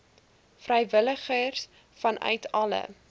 vrywilligers vanuit alle